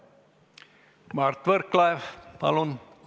Mart Võrklaev, palun!